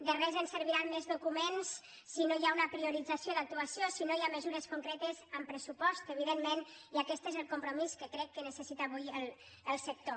de res ens serviran més documents si no hi ha una priorització d’actuació si no hi ha mesures concretes amb pressupost evidentment i aquest és el compromís que crec que necessita avui el sector